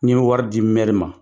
N ye wari di mɛri ma.